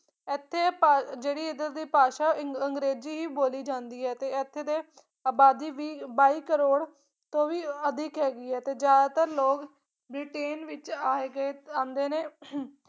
ਇੱਥੇ ਭਾ ਜਿਹੜੀ ਇਧਰਲੀ ਭਾਸ਼ਾ ਇੰ ਅੰਗਰੇਜ਼ੀ ਹੀ ਬੋਲੀ ਜਾਂਦੀ ਹੈ ਤੇ ਇੱਥੇ ਦੇ ਅਬਾਦੀ ਵੀਹ ਬਾਈ ਕਰੋੜ ਤੋਂ ਵੀ ਅਧਿਕ ਹੈਗੀ ਹੈ ਤੇ ਜ਼ਿਆਦਾਤਰ ਲੋਕ ਬ੍ਰਿਟੇਨ ਵਿੱਚ ਆਏ ਗਏ ਆਉਂਦੇ ਨੇ ਅਹੰ